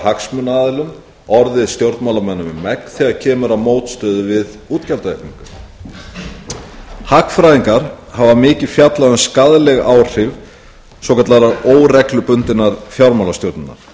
hagsmunaaðilum orðið stjórnmálamönnum um megn þegar kemur að mótstöðu við útgjaldaaukningu hagfræðingar hafa mikið fjallað um skaðleg áhrif svokallaðrar óreglubundinnar fjármálastjórnar